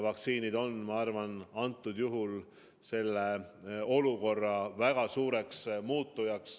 Vaktsiinid suudavad, ma arvan, seda olukorda väga suuresti muuta.